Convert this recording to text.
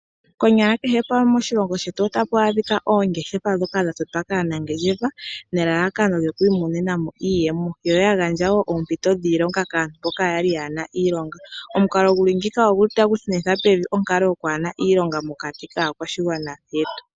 Konyala kehe pamwe moshilongo shetu otapu adhika oongeshefa dhoka dha totwa kaanangeshefa nelalakano lyo kwiimonenamo iiyemo. Yo ya gandja wo oompito dhiilonga kaantu mboka yali yaana iilonga. Omukalo guli ngika otagu shunitha pevi okwaana iilonga mokati kaakwashigwana yetu.